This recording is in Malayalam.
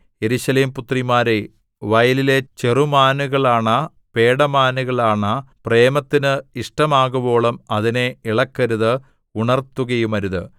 യെരൂശലേം പുത്രിമാരേ വയലിലെ ചെറുമാനുകളാണ പേടമാനുകളാണ പ്രേമത്തിന് ഇഷ്ടമാകുവോളം അതിനെ ഇളക്കരുത് ഉണർത്തുകയുമരുത്